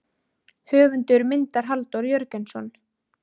Höfundur myndar Halldór Jörgensson.